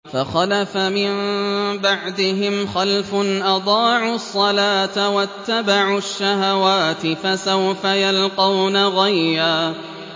۞ فَخَلَفَ مِن بَعْدِهِمْ خَلْفٌ أَضَاعُوا الصَّلَاةَ وَاتَّبَعُوا الشَّهَوَاتِ ۖ فَسَوْفَ يَلْقَوْنَ غَيًّا